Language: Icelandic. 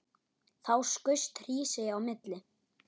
Þá skaust Hrísey á milli.